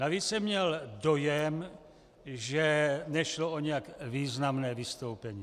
Navíc jsem měl dojem, že nešlo o nijak významné vystoupení.